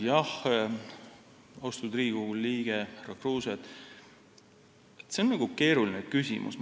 Jah, austatud Riigikogu liige Kruuse, see on keeruline küsimus.